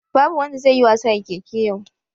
Babu wanda zai yi wasa da keke yau